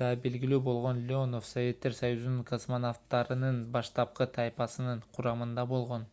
да белгилүү болгон леонов советтер союзунун космонавттарынын баштапкы тайпасынын курамында болгон